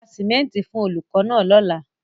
Ra sìmẹ́ńtì fún olùkọ́ náà lọ́la.